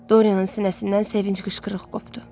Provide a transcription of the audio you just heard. Doriyanın sinəsindən sevinc qışqırığı qopdu.